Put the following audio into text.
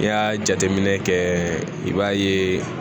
N'i y'a jateminɛ kɛ i b'a ye